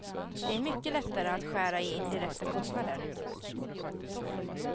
Det är mycket lättare att skära i indirekta kostnader.